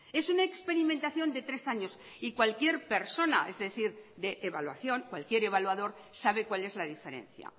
es una experimentación de tres años y cualquier persona es decir de evaluación cualquier evaluador sabe cuál es la diferencia